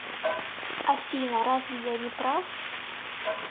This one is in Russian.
афина разве я не прав